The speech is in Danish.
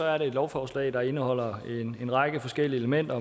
er det et lovforslag der indeholder en række forskellige elementer